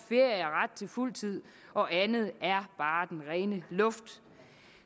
fuldtid og andet er bare den rene luft